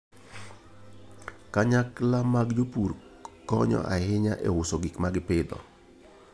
Kanyakla mag jopur konyo ahinya e uso gik ma gipidho.